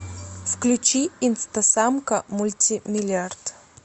включи инстасамка мультимиллиард